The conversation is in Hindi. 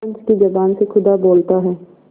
पंच की जबान से खुदा बोलता है